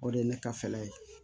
O de ye ne ka fɛɛrɛ ye